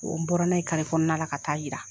O n bɔra n'a ye karekɔnɔna la ka ta'a jira